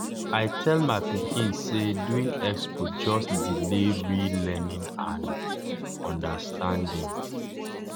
i tell my pikin say doing expo just delay real learning and understanding.